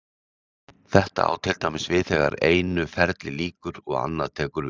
Þetta á til dæmis við þegar einu ferli lýkur og annað tekur við.